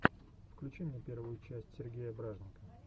включи мне первую часть сергея бражника